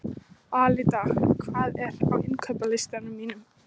Alida, hvað er á innkaupalistanum mínum?